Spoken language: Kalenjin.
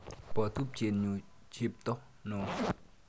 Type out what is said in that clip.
Po tupchenyu chepto no.